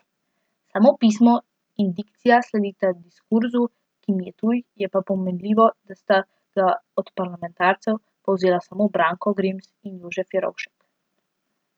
Samo pismo in dikcija sledita diskurzu, ki mi je tuj, je pa pomenljivo, da sta ga od parlamentarcev povzela samo Branko Grims in Jožef Jerovšek.